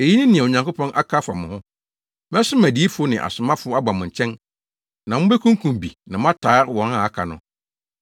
Eyi ne nea Onyankopɔn aka afa mo ho: ‘Mɛsoma adiyifo ne asomafo aba mo nkyɛn na mubekunkum bi na moataa wɔn a aka no.’